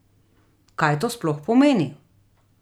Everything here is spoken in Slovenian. Kaj to sploh pomeni?